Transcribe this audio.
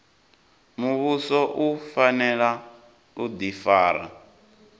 muvhuso u fanela u difara